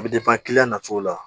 A bɛ na cogo la